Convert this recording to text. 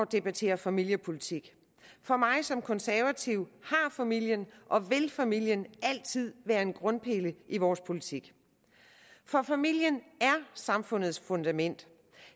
debattere familiepolitik for mig som konservativ har familien og vil familien altid være en grundpille i vores politik for familien er samfundets fundament